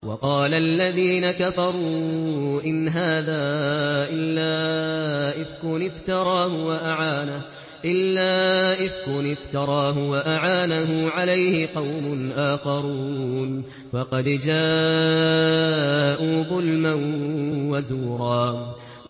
وَقَالَ الَّذِينَ كَفَرُوا إِنْ هَٰذَا إِلَّا إِفْكٌ افْتَرَاهُ وَأَعَانَهُ عَلَيْهِ قَوْمٌ آخَرُونَ ۖ فَقَدْ جَاءُوا ظُلْمًا وَزُورًا